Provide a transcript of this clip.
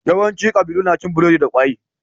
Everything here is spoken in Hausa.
Yawanci ƙabilu na cin biredi da ƙwai.